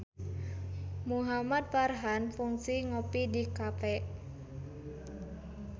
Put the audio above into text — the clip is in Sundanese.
Muhamad Farhan kungsi ngopi di cafe